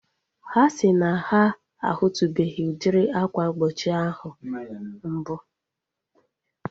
Ha si na ha a hutubeghi udiri akwa mgbochi ahu mbu